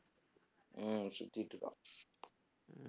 உம் சுத்திட்டிருக்கான் உம்